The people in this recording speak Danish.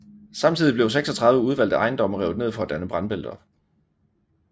Samtidig blev 36 udvalgte ejendomme revet ned for at danne brandbælter